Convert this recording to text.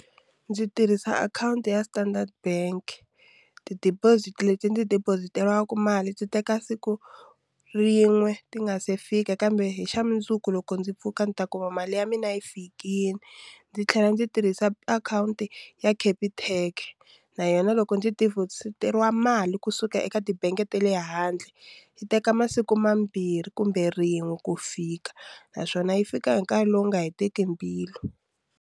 Ndzi tirhisa akhawunti ya Standard bank ti-deposit leti ndzi deposit-eriwaka mali ti teka siku rin'we ti nga se fika kambe hi xa mundzuku loko ndzi pfuka ni ta kuma mali ya mina yi fikile ndzi tlhela ndzi tirhisa akhawunti ya Capitec na yona loko ndzi deposit-eriwa mali kusuka eka tibangi ta le handle yi teka masiku mambirhi kumbe rin'we ko fika naswona yi fika hi nkarhi lowu nga heteki mbilu.